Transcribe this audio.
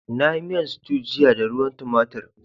Na yi miyan stew jiya da ruwan tomatir.